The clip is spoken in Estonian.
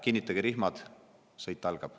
Kinnitage rihmad, sõit algab.